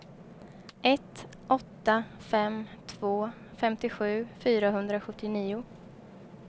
ett åtta fem två femtiosju fyrahundrasjuttionio